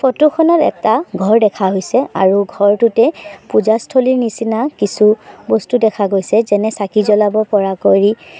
photo খনত এটা ঘৰ দেখা হৈছে আৰু ঘৰটোতে পূজাস্থলীৰ নিচিনা কিছু বস্তু দেখা গৈছে যেনে চাকি জ্বলাব পৰা কৰি--